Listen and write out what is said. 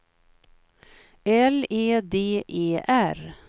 L E D E R